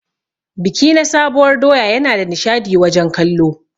Biki na sabuwar doya Yana da nishadi wajen kallo.